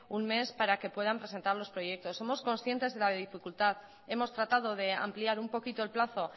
un mes para que puedan presentar los proyectos somos conscientes de la dificultad hemos tratado de ampliar un poquito el plazo